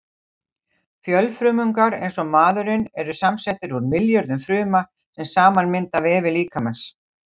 Fjölfrumungar eins og maðurinn eru samsettir úr milljörðum fruma, sem saman mynda vefi líkamans.